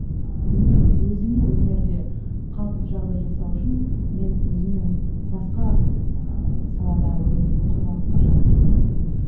ііі өнер өзіме өнерде қалыпты жағдай жасау үшін мен өзімнің басқа ыыы саладағы өмірімді құрбандыққа шалып келе жатырмын